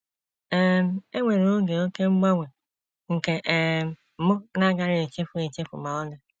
“ um E nwere oge oké mgbanwe nke um m na - agaghị echefu echefu ma ọlị.